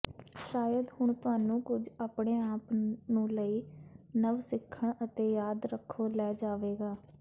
ਸ਼ਾਇਦ ਹੁਣ ਤੁਹਾਨੂੰ ਕੁਝ ਆਪਣੇ ਆਪ ਨੂੰ ਲਈ ਨਵ ਸਿੱਖਣ ਅਤੇ ਯਾਦ ਰੱਖੋ ਲੈ ਜਾਵੇਗਾ